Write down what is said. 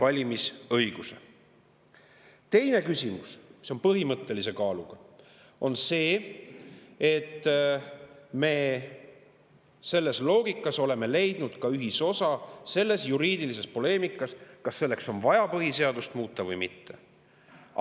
Teine – see on põhimõttelise kaaluga – on see, et me oleme leidnud ühisosa selles loogikas, selles juriidilises poleemikas, kas selleks on vaja põhiseadust muuta või mitte.